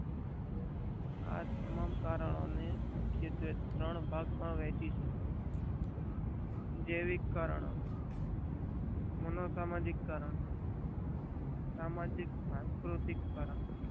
આ ત્રણ કારણો મુખ્યત્વે ત્રણ ભાગ માં વેહચી સકાય છે. જેવીકે કારણો મનોસામાજિક કારણો સામાજિક કારણો.